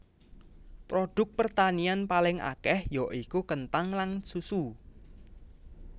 Produk pertanian paling akèh ya iku kenthang lan susu